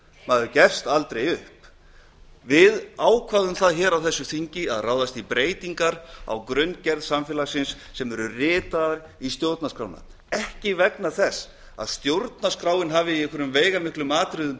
maður gefst aldrei upp við ákváðum það hér á þessu þingi að ráðast í breytingar á grunngerð samfélagsins sem eru ritaðar í stjórnarskrána ekki vegna þess að stjórnarskráin hafi í einhverjum veigamiklum atriðum